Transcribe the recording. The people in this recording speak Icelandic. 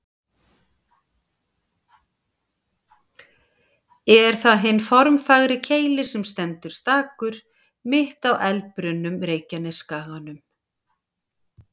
Er það hinn formfagri Keilir sem stendur stakur, mitt á eldbrunnum Reykjanesskaganum.